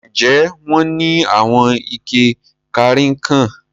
Ǹjẹ́ wọn ni awọn ìkẹ̀ kanrínnkan?